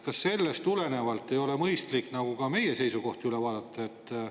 Kas sellest tulenevalt ei ole mõistlik ka meie seisukohti üle vaadata?